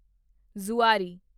Zuari